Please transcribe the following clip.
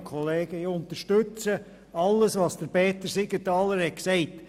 Ich unterstütze alles, was Peter Siegenthaler gesagt hat.